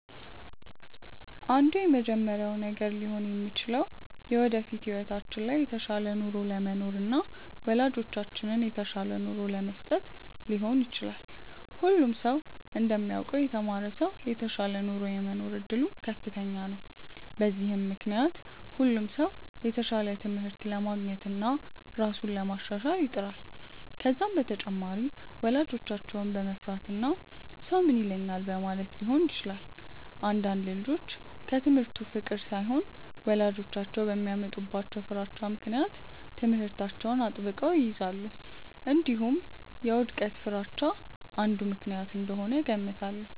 አንዱ የመጀመሪያው ነገር ሊሆን የሚችለው የወደፊት ህይወታቸው ላይ የተሻለ ኑሮ ለመኖርና ወላጆቻቸውን የተሻለ ኑሮ ለመስጠት ሊሆን ይችላል። ሁሉም ሰው እንደሚያውቀው የተማረ ሰው የተሻለ ኑሮ የመኖር እድሉ ከፍተኛ ነው። በዚህም ምክንያት ሁሉም ሰው የተሻለ ትምህርት ለማግኘትና ራሱን ለማሻሻል ይጥራል። ከዛም በተጨማሪ ወላጆቻቸውን በመፍራትና ሰው ምን ይለኛል በማለትም ሊሆን ይችላል። አንዳንድ ልጆች ከትምህርቱ ፍቅር ሳይሆን ወላጆቻቸው በሚያመጡባቸው ፍራቻ ምክንያት ትምህርታቸውን አጥብቀው ይይዛሉ። እንዲሁም የውድቀት ፍርሃቻ አንዱ ምክንያት እንደሆነ እገምታለሁ።